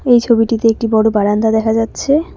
এই ছবিটিতে একটি বড় বারান্দা দেখা যাচ্ছে।